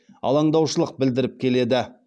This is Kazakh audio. алаңдаушылық білдіріп келеді